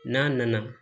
N'a nana